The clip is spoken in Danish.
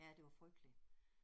Ja det var frygteligt